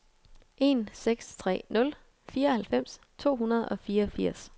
en seks tre nul fireoghalvfems to hundrede og fireogfirs